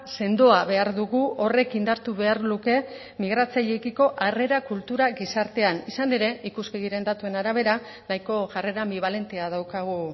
sendoa behar dugu horrek indartu behar luke migratzaileekiko arrera kultura gizartean izan ere ikuspegiren datuen arabera nahiko jarrera bibalentea daukagu